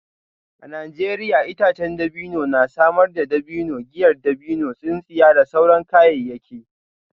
A Najeriya itacen dabino na samar da dabino, giyar dabino, tsintsiya da sauran kayayyaki.